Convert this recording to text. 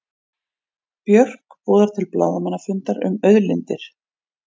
Björk boðar til blaðamannafundar um auðlindir